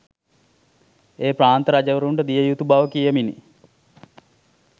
ඒ ප්‍රාන්ත රජවරුන්ට දිය යුතු බව කියමිනි